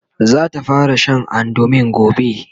zata fara Sha andumin gobe